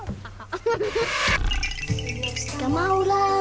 skal mála